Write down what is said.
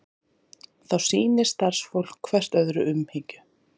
Þá sýni starfsfólk hvert öðru umhyggju